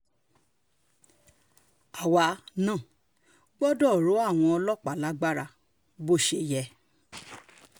àwa um náà gbọ́dọ̀ rọ àwọn ọlọ́pàá lágbára bó ṣe yẹ um